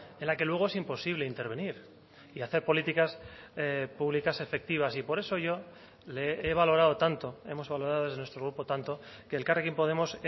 en la que luego es imposible intervenir y hacer políticas públicas efectivas y por eso yo le he valorado tanto hemos valorado desde nuestro grupo tanto que elkarrekin podemos